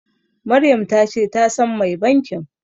Maryam ta ce ta san mai bankin.